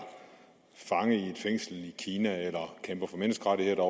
fanget i et fængsel i kina eller kæmper for menneskerettigheder